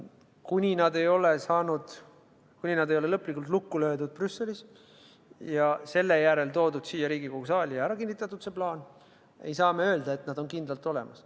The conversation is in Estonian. Kuni nad ei ole Brüsselis lõplikult lukku löödud ja selle järel toodud siia Riigikogu saali ja ära kinnitatud, ei saa me öelda, et nad on kindlalt olemas.